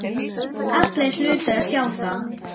Allir hlutu að sjá það.